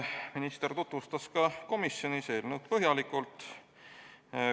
Minister tutvustas komisjonis eelnõu põhjalikult.